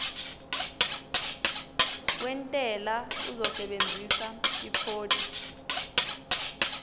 wentela uzosebenzisa ikhodi